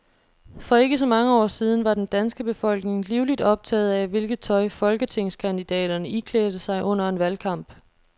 For ikke så mange år siden var den danske befolkning livligt optaget af, hvilket tøj folketingskandidaterne iklædte sig under en valgkamp.